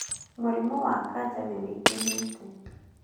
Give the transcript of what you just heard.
Mũrimũ wa kanja nĩwĩingĩhĩte